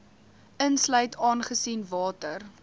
insluit aangesien water